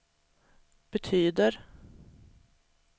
betyder